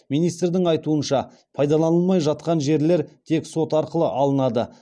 министрдің айтуынша пайдаланылмай жатқан жерлер тек сот арқылы алынады